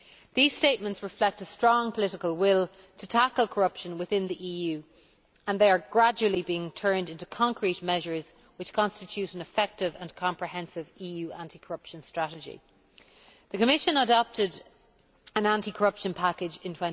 These statements reflect a strong political will to tackle corruption within the EU, and they are gradually being turned into concrete measures which constitute an effective and comprehensive EU anti corruption strategy. The Commission adopted an anti corruption package in